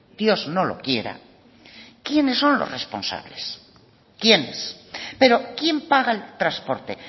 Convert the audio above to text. dios no lo quiera quiénes son los responsables quiénes pero quién paga el transporte